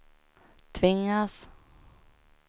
tvingas